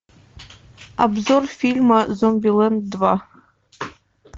обзор фильма зомбилэнд два